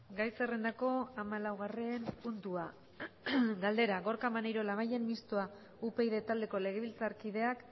gai zerrendako hamalaugarren puntua galdera gorka maneiro labayen mistoa upyd taldeko legebiltzarkideak